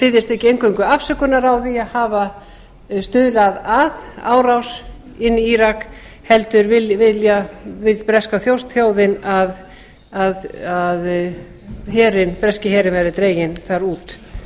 biðjist ekki eingöngu afsökunar á að hafa stuðlað að árás inn í írak heldur vill breska þjóðin að breski herinn verði dreginn þar út